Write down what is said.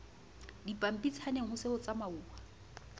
dipampitshaneng ho se ho tsamauwa